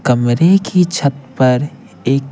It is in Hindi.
कमरे की छत पर एक--